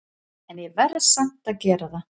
En ég verð samt að gera það.